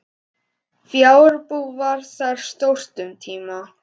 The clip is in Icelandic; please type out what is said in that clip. Fjárbú var þar stórt um tíma.